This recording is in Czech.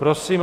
Prosím.